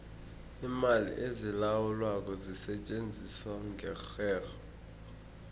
iimali ezilawulwako zisetjenziswa ngerherho